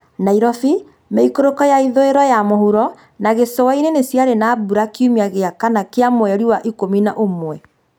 Nairobi, mĩikũrũko ya ithũĩro ya mũhuro, na gĩcũa-inĩ niciarĩ na mbura kiumia gĩa kana kĩa mweri wa kũmi na ũmwe